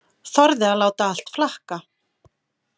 Þorði að láta allt flakka.